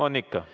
On ikka.